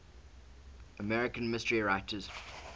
american mystery writers